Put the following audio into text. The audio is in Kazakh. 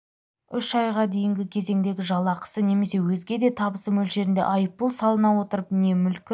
үш айға дейінгі кезеңдегі жалақысы немесе өзге де табысы мөлшерінде айыппұл салына отырып не мүлкі